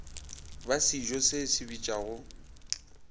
ba sejo se se bitšwago